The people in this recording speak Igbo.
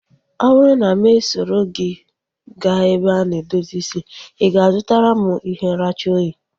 Ọ bụrụ na mụ soro gị gaa ebe a na-edozi isi, i ga-azutara m ihe nracha oyi?